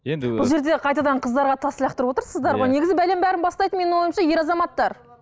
енді бұл жерде қайтадан қыздарға тас лақтырып отырсыздар ғой негізі бәленің бәрін бастайтын менің ойымша ер азаматтар